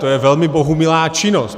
To je velmi bohumilá činnost.